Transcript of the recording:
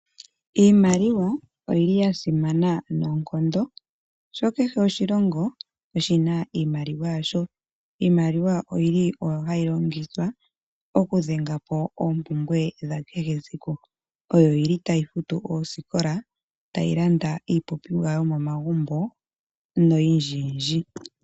Iimaliwa oyili ya simana noonkondo sho kehe oshilongo oshina iimaliwa yasho. Iimaliwa oyili oyo hayi longithwa oku dhenga po oompumbe dha kehe esiku oyo oyili tayi futu oosikola tayyi landa iipumbiwa yomomagumo noyindji yindji.